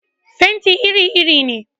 Fenti iri iri ne.